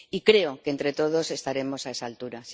Y creo que entre todos estaremos a esa altura.